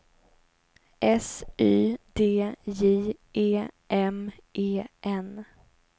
S Y D J E M E N